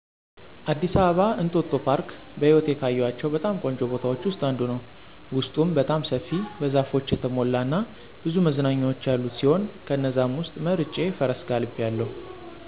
አዲስ አበባ እንጦጦ ፓርክ በህይወቴ ካየኋቸው በጣም ቆንጆ ቦታዎች ውስጥ አንዱ ነው። ውስጡም በጣም ሰፊ፣ በዛፎች የተሞላ እና ብዙ መዝናኛዎች ያሉት ሲሆን ከነዛም ውስጥ መርጬ ፈረስ ጋልቢያለሁ።